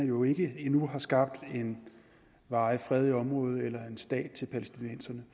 jo ikke endnu har skabt en varig fred i området eller en stat til palæstinenserne